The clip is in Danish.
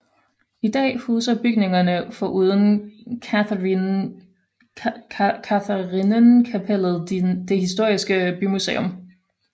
I dag huser bygningerne foruden Katharinenkapellet det historiske bymuseum